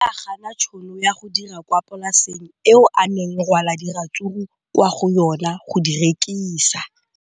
O ne a gana tšhono ya go dira kwa polaseng eo a neng rwala diratsuru kwa go yona go di rekisa.